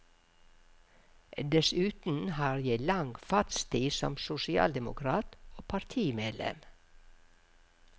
Dessuten har jeg lang fartstid som sosialdemokrat og partimedlem.